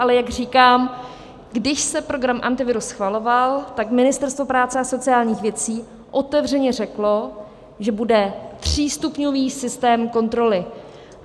Ale jak říkám, když se program Antivirus schvaloval, tak Ministerstvo práce a sociálních věcí otevřeně řeklo, že bude třístupňový systém kontroly.